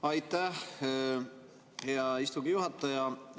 Aitäh, hea istungi juhataja!